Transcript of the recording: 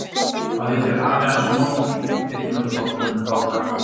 Hvað heitir afi hans Morty í teiknimyndaþáttunum um þá kappa?